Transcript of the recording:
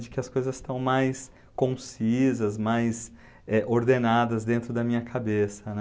De que as coisas estão mais concisas, mais, eh, ordenadas dentro da minha cabeça, né?